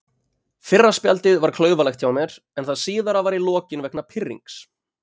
Fyrra spjaldið var klaufalegt hjá mér en það síðara var í lokin vegna pirrings.